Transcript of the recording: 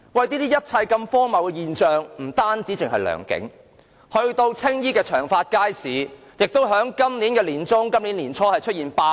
這一切荒謬的現象不止發生在良景邨，青衣長發街市也在今年年初出現罷市。